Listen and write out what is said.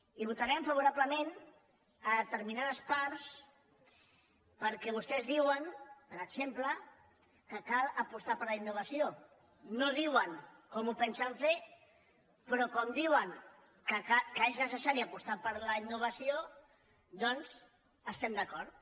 hi votarem favorable·ment a determinades parts perquè vostès diuen per exemple que cal apostar per la innovació no diuen com ho pensen fer però com que diuen que és neces·sari apostar per la innovació doncs hi estem d’acord